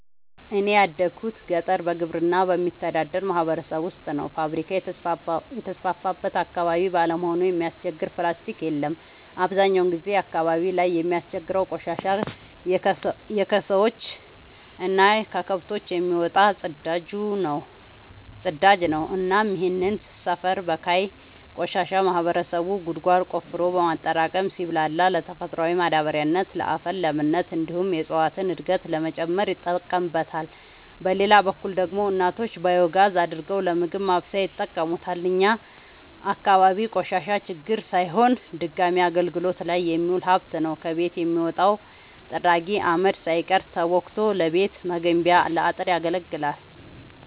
እኔ ያደጉት ገጠር በግብርና በሚተዳደር ማህበረሰብ ውስጥ ነው። ፋብሪካ የተስፋፋበት አካባቢ ባለመሆኑ የሚያስቸግር ፕላስቲ የለም አብዛኛውን ጊዜ አካባቢው ላይ የሚያስቸግረው ቆሻሻ የከሰዎች እና ከከብቶች የሚወጣው ፅዳጅ ነው እናም ይህንን ሰፈር በካይ ቆሻሻ ማህበረሰቡ ጉድጓድ ቆፍሮ በማጠራቀም ሲብላላ ለተፈጥሯዊ ማዳበሪያነት ለአፈር ለምነት እንዲሁም የእፀዋትን እድገት ለመጨመር ይጠቀምበታል። በሌላ በኩል ደግሞ እናቶች ባዮጋዝ አድርገው ለምግብ ማብሰያነት ይጠቀሙበታል። እኛ አካባቢ ቆሻሻ ችግር ሳይሆን ድጋሚ አገልግት ላይ የሚውል ሀብት ነው። ከቤት የሚወጣው ጥራጊ አመድ ሳይቀር ተቦክቶ ለቤት መገንቢያ ለአጥር ያገለግላል።